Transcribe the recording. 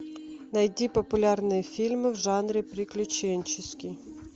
найди популярные фильмы в жанре приключенческий